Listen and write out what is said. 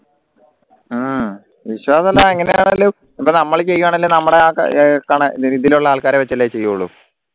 അഹ് വിശ്വാസ ഇപ്പോ നമ്മൾ ചെയ്യുവാണേൽ നമ്മടെ ആഹ് കണ ഇതിലുള്ള ആൾക്കാരെ വെച്ചല്ലേ ചെയ്യുള്ളൂ